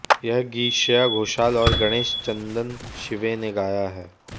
यह गीत श्रेया घोषाल और गणेश चंदनशीवे ने गाया है